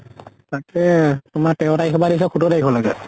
তাকে, তোমাৰ তেৰ তাৰিখৰ পৰা দিছে সোতৰ তাৰিখলৈকে।